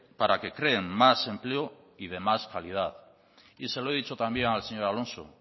para que creen más empleo y de más calidad y se lo he dicho también al señor alonso